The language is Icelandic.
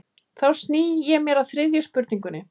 Þá sný ég mér að þriðju spurningunni.